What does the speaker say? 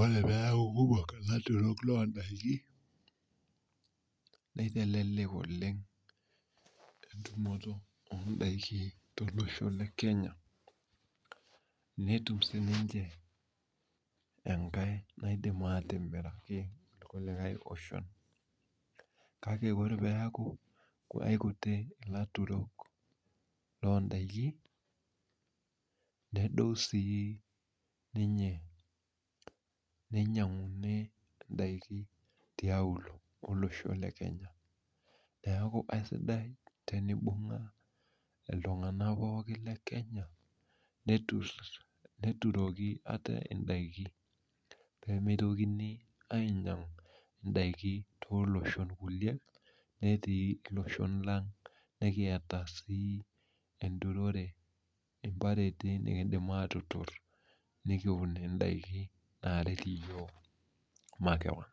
Ore peaku kumok ilaturok loo ndaiki, neitelelek oleng entumoto oo ndaiki tolosho le Kenya netum siininche enkae naidim atimiraki irkulie oshon kake ore peeku aikuti ilaturok loo ndaiki, nedou siininye. Neinyang'uni indaiki tiaulo olosho le Kenya. Neeku aisidai tenibung'a iltung'anak pookin le Kenya neturoki ate indaiki peemitokini ainyang' indaiki tooloshon kulie netii iloshon lang nekiata sii enturore imbareti nekiindim aatuturr nekiun indaiki naaret iyiok makewan